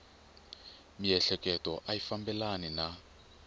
miehleketo a yi fambelani na